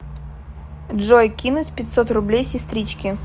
джой кинуть пятьсот рублей сестричке